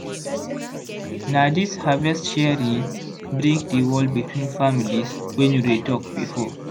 na dis harvest sharing break di wall between families wey no dey talk before.